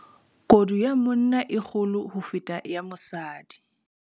kodu ya monna e kgolo ho feta ya mosadi